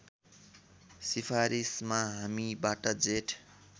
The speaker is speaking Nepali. सिफारिसमा हामीबाट जेठ